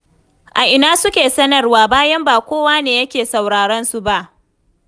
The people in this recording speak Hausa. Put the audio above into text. A ina suke sanarwa? Bayan ba kowa ne yake sauraron su ba.